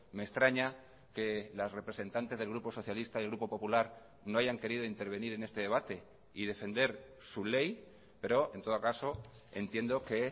me extraña que las representantes del grupo socialista y el grupo popular no hayan querido intervenir en este debate y defender su ley pero en todo caso entiendo que